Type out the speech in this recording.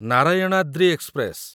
Narayanadri express